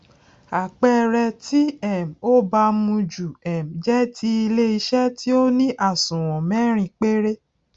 àpẹẹrẹ tí um ó baamu ju um jẹ ti iléiṣẹ tí ó ní àsùnwòn mẹrin péré